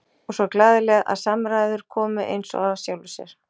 Og svo glaðleg að samræður komu eins og af sjálfu sér.